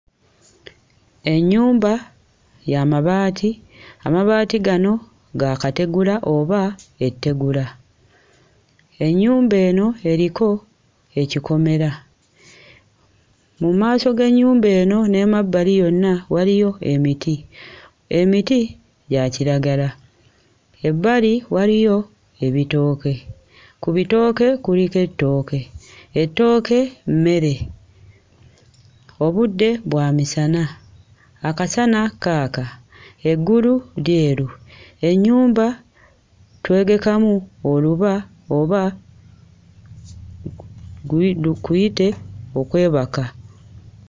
Ennyumba ya mabaati, amabaati gano ga kategula oba ettegula. Ennyumba eno eriko ekikomera. Mu maaso g'ennyumba eno n'emabbali yonna waliyo emiti> Emiti gya kiragla, ebbali waliyo ebitooke, ku bitooke kuliko ettooke, ettooke mmere. Obudde bwa misana, akasana kaaka eggulu lyeru, ennyumba twegekamu oluba oba kuyite okwebaka.